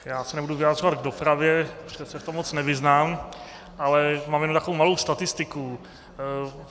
Já se nebudu vyjadřovat k dopravě, protože se v tom moc nevyznám, ale mám jen takovou malou statistiku.